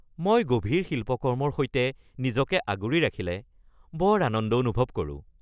মই গভীৰ শিল্পকৰ্মৰ সৈতে নিজকে আগুৰি ৰাখিলে বৰ আনন্দ অনুভৱ কৰোঁ।